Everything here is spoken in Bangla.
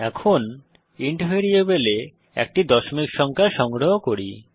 এখন ইন্ট ভ্যারিয়েবলে একটি দশমিক সংখ্যা সংগ্রহ করি